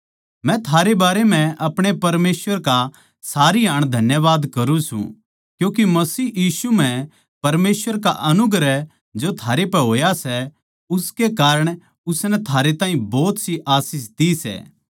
मै थारै बारै म्ह अपणे परमेसवर का सारी हाण धन्यवाद करूँ सूं क्यूँके मसीह यीशु म्ह परमेसवर का अनुग्रह जो थारे पै होया सै उसके कारण उसनै थारे ताहीं भोत सी आशीष दी सै